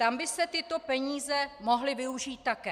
Tam by se tyto peníze mohly využít také.